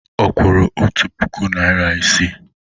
Ọ kwụrụ otu puku naịra isii?